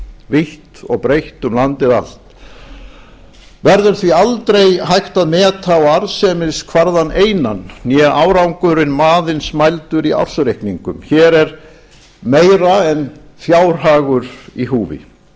vítt og breitt um landið allt verður því aldrei hægt að meta á arðsemiskvarðann einan né árangurinn aðeins mældur í ársreikningum hér er meira en fjárhagur í húfi